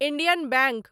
Indian bank